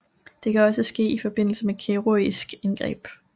Det kan også ske i forbindelse med kirurgiske indgreb